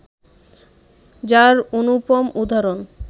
যার অনুপম উদাহরণ